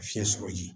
Fiɲɛ sɔrɔli